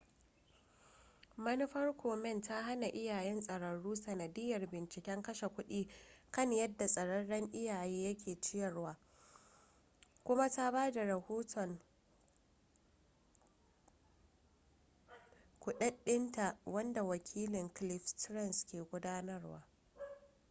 manufar komen ta hana iyayen tsararru sanadiyyar binciken kashe kudi kan yadda tsararren iyaye yake ciyarwa kuma ta ba da rahoton kuɗaɗɗinta wanda wakilin cliff stearns ke gudanarwa